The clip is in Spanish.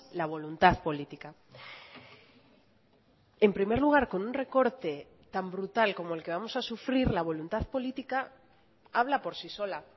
la voluntad política en primer lugar con un recorte tan brutal como el que vamos a sufrir la voluntad política habla por sí sola